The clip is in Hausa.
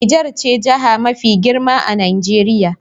Nijar ce jiha mafi girma a Najeriya.